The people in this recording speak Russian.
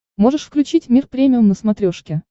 можешь включить мир премиум на смотрешке